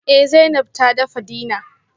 Eh Zainab ta dafa dinner